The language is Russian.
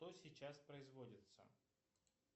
что сейчас производится